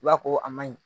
I b'a ko a ma ɲi